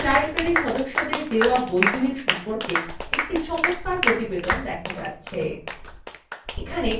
এখানে লাইব্রেরী সদস্যদের দেওয়া বইগুলির সম্পর্কে একটি চমৎকার প্রতিবেদন দেখা যাচ্ছে